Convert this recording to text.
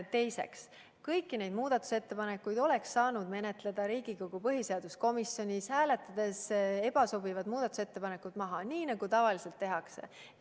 Teiseks, kõiki neid muudatusettepanekuid oleks saanud menetleda Riigikogu põhiseaduskomisjonis, hääletades ebasobivad muudatusettepanekud maha, nii nagu tavaliselt tehakse.